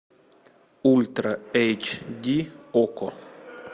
ультра эйч ди окко